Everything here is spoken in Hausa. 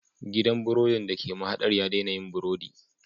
Gidan burodin da ke mahadar ya daina yin burodi